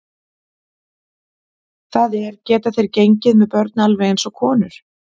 Það er, geta þeir gengið með börn alveg eins og konur?